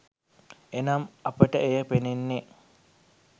එනම් අපට එය පෙනෙන්නේ